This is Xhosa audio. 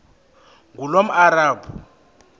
ngulomarabu